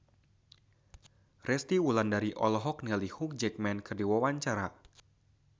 Resty Wulandari olohok ningali Hugh Jackman keur diwawancara